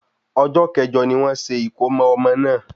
Ọjọ́ kẹ̀jo ni wọ́n ṣe ìkómo ọmọ náà